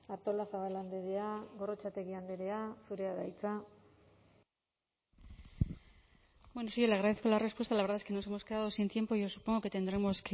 artolazabal andrea gorrotxategi andrea zurea da hitza bueno sí yo le agradezco la respuesta la verdad es que nos hemos quedado sin tiempo y yo supongo que tendremos